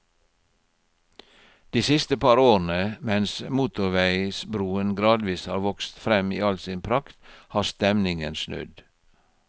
De siste par årene, mens motorveisbroen gradvis har vokst frem i all sin prakt, har stemningen snudd.